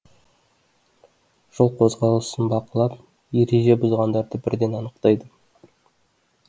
жол қозғалысын бақылап ереже бұзғандарды бірден анықтайды